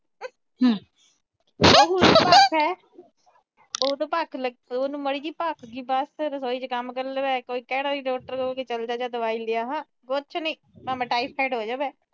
ਬਹੂ ਨੂੰ ਮਾੜੀ ਜੀ ਭੱਖ ਆ ਬਸ, ਰਸੋਈ ਚ ਕੰਮ ਕਰ ਲਵੇ। ਡਾਕਟਰ ਕੋਲ ਚਲ ਜਾ, ਦਵਾਈ ਲੈ ਆ, ਕੁਛ ਨੀ, ਭਾਵੇਂ ਟਾਈਫਾਈਡ ਹੋ ਜਵੇ।